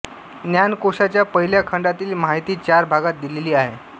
ज्ञानकोशाच्या पहिल्या खंडातील माहिती चार भागांत दिलेली आहे